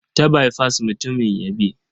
Ta baifas mutumin ya bi.